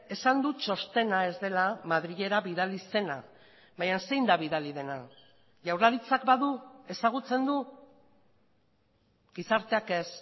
esan du txostena ez dela madrilera bidali zena baina zein da bidali dena jaurlaritzak badu ezagutzen du gizarteak ez